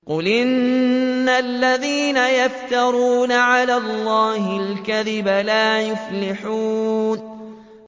قُلْ إِنَّ الَّذِينَ يَفْتَرُونَ عَلَى اللَّهِ الْكَذِبَ لَا يُفْلِحُونَ